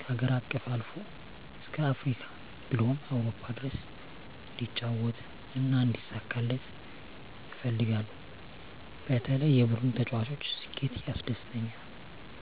ከሀገር አቀፍ አልፎ እስከ አፍሪካ ብሎም አውሮፓ ድረስ እንዲጫወት እና እንዲሳካለት እፈልጋለሁ በተለይ የቡድኑ ተጫዋች ስኬት ያስደስተኛል።